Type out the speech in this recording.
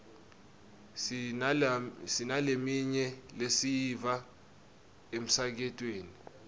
sinaleminye lesiyiva emsakatweni